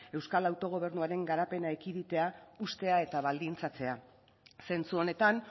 euskal autogobernuaren garapena ekiditea hustea eta baldintzatzea zentzu honetan